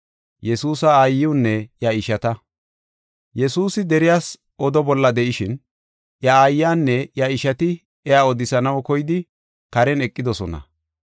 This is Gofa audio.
Yesuusi deriyas oda bolla de7ishin iya aayanne iya ishati iya odisanaw koyidi karen eqidosona.